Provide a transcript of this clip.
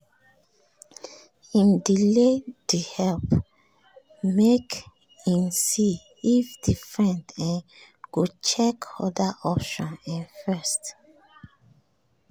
him delay the help um make him see if the friend um go check other options um first